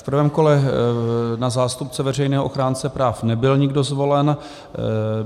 V prvém kole na zástupce veřejného ochránce práv nebyl nikdo zvolen.